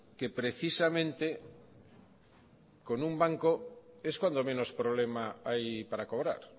que precisamente con un banco es cuando menos problema hay para cobrar